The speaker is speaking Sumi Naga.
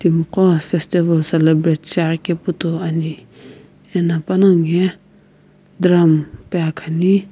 timiqo festival celebrate shiaghikepu toi ani eno panongu ye drum pe akhani.